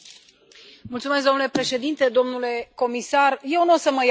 Domnule președinte, domnule comisar, eu nu o să mă iau de titlu.